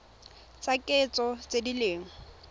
tsa kitso tse di leng